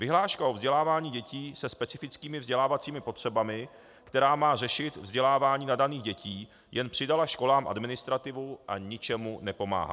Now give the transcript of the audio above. Vyhláška o vzdělávání dětí se specifickými vzdělávacími potřebami, která má řešit vzdělávání nadaných dětí, jen přidala školám administrativu a ničemu nepomáhá.